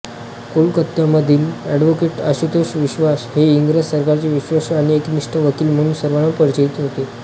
कोलकात्यामधील advocate Ashutosh Vishwas हे इंग्रज सरकारचे विश्वासू आणि एकनिष्ठ वकील म्हणून सर्वांना परिचित होते